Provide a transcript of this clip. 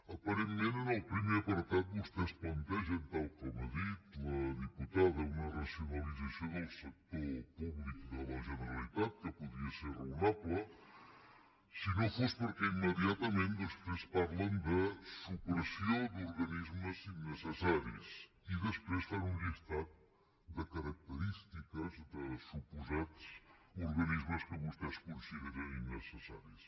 aparentment en el primer apartat vostès plantegen tal com ha dit la diputada una racionalització del sector públic de la generalitat que podria ser raonable si no fos perquè immediatament després parlen de supressió d’organismes innecessaris i després fan un llistat de característiques de suposats organismes que vostès consideren innecessaris